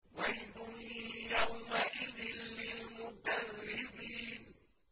وَيْلٌ يَوْمَئِذٍ لِّلْمُكَذِّبِينَ